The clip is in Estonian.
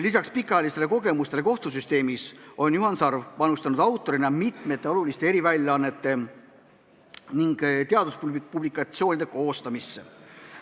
Lisaks pikaajalistele kogemustele kohtusüsteemis on Juhan Sarv autorina panustanud mitmete oluliste eriväljaannete ning teaduspublikatsioonide koostamisse.